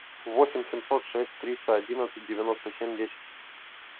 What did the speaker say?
восемь семьсот шесть триста одиннадцать девяносто семь десять